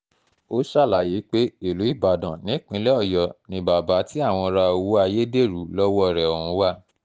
ó ṣàlàyé pé ìlú ibaloan nípínlẹ̀ ọ̀yọ́ ni bàbá tí àwọn ra owó ayédèrú lọ́wọ́ rẹ̀ ọ̀hún wá